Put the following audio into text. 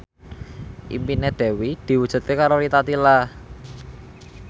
impine Dewi diwujudke karo Rita Tila